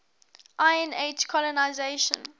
iron age colonisation